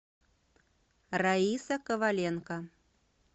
раиса коваленко